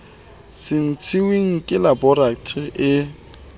se ntshitsweng ke laboratori e